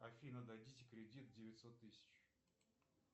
афина дадите кредит девятьсот тысяч